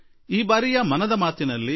ಈ ಸಲದ ಮನದ ಮಾತಿನಲ್ಲಿ ಪಿ